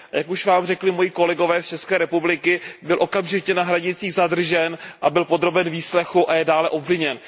Jak už vám řekli moji kolegové z České republiky, byl okamžitě na hranicích zadržen a byl podroben výslechu a je dále obviněn.